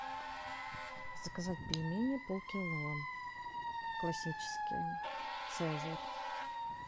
заказать пельмени полкило классические цезарь